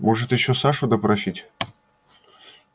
можете ещё сашу допросить